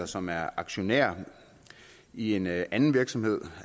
som er aktionær i en anden virksomhed